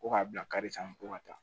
Ko k'a bila kari san ko ka taa